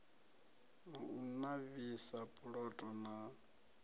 na u navhisa puloto na